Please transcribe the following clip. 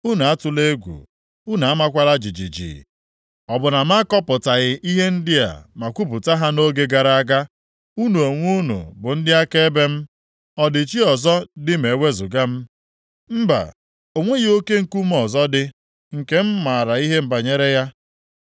Unu atụla egwu. Unu amakwala jijiji. Ọ bụ na m akọpụtaghị ihe ndị a ma kwupụta ha nʼoge gara aga. Unu onwe unu bụ ndị akaebe m. Ọ dị chi ọzọ dị ma e wezuga m? Mba! O nweghị Oke nkume ọzọ dị, nke m maara ihe banyere ya.”